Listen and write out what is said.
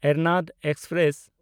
Ernad express